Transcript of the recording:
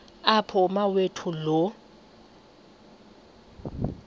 apho umawethu lo